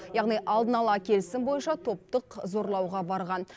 яғни алдын ала келісім бойынша топтық зорлауға барған